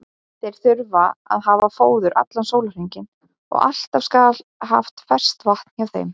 Þeir þurfa að hafa fóður allan sólarhringinn og alltaf skal haft ferskt vatn hjá þeim.